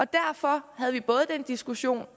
derfor havde vi den diskussion